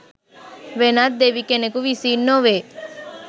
වෙනත් දෙවි කෙනෙකු විසින් නොවේ.